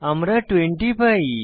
আমরা 20 পাই